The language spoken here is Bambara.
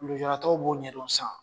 Lujuratɔw b'o ɲɛdon sisan